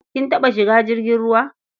Kin taɓa shiga jirgin ruwa?